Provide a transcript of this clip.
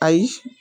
Ayi